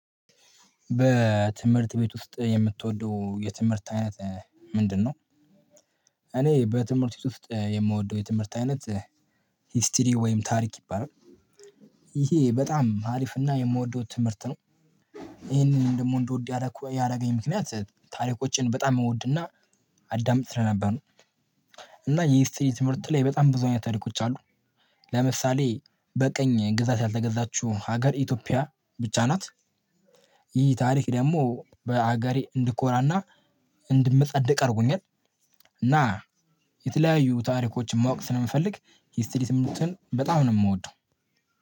በትምህርት ቤት ውስጥ የምትወደው የትምህርት አይነት ምንድነው? እኔ በትምህርት ውስጥ የምወደው የትምህርት አይነት ሂስትሪ ወይም ታሪክ ይባላል። ይሄ በጣም አሪፍና የምወደው ትምህርት ነው። ይሄንን ደሞ እንድወድ ያደረገኝ ምክንያት ታሪኮችን በጣም እወድና አዳምጥ ስለነበር ነው። እና የሂስትሪ ትምህርት ላይ በጣም ብዙ አይነት ታሪኮች አሉ። ለምሳሌ በቀኝ ግዛት ያልተገዛችው ሀገር ኢትዮጵያ ብቻ ናት። ይህ ታሪክ ደግሞ በሀገሬ እንድኮራና እንድመጻደቅ አድርጎኛል። እና የተለያዩ ታሪኮችን ማወቅ ስለምፈልግ ሂስትሪ ትምህትርት በጣም ነው የምወደው።